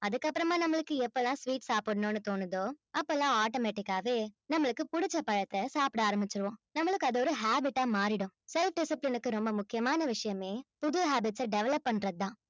அதுக்கப்புறமா நம்மளுக்கு எப்பல்லாம் sweet சாப்பிடணும்னு தோணுதோ அப்பெல்லாம் automatic ஆவே நம்மளுக்கு பிடிச்ச பழத்தை சாப்பிட ஆரம்பிச்சிடுவோம் நம்மளுக்கு அது ஒரு habit ஆ மாறிடும் self discipline க்கு ரொம்ப முக்கியமான விஷயமே புது habits அ develop பண்றதுதான்